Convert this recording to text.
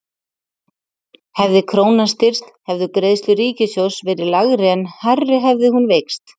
Hefði krónan styrkst hefðu greiðslur ríkissjóðs verið lægri en hærri hefði hún veikst.